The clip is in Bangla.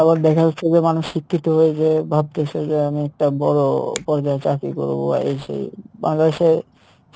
আবার দেখা যাচ্ছে যে মানুষ শিক্ষিত হয়ে যে ভাবতেছে যে আমি একটা পর্যায়ে চাকরী করবো বা এই সেই বাংলাদেশে